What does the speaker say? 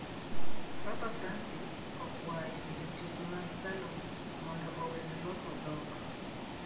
Papa Francis okwayo jotich mag salon mondo owek loso dhok